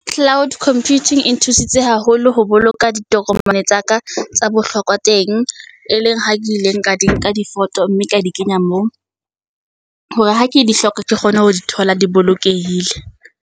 Cloud computing e nthusitse haholo ho boloka ditokomane tsa ka tsa bohlokwa teng, e leng ha ke ileng ka di nka di photo, mme ka di kenya moo, hore ha ke di hloka ke kgone ho di thola di bolokehile.